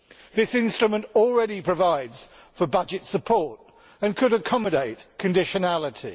This instrument already provides for budget support and could accommodate conditionality.